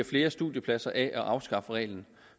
flere studiepladser af at afskaffe reglen